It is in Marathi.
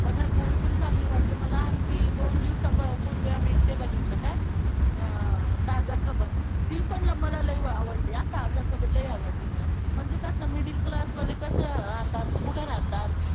पठाण movie पण चांगली वाटली मला आणि ती दोन दिवसांपूर्वी आम्ही ते बघितलं काय अं ताजा खबर ती पण मला लई आवडली हां ताजा खबर लई आवडली मला म्हणजे कसं middle class वाले कसं राहतात, कुठं राहतात.